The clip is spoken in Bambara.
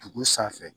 Dugu sanfɛ